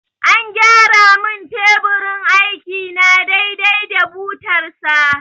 An gyara mun teburin aiki na dai dai da butar sa